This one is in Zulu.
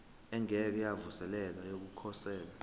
engeke yavuselelwa yokukhosela